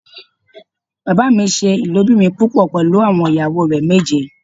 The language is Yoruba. Bàbá mi ṣe ilobirin púpọ̀ pẹlú àwọn ìyàwó rẹ méje.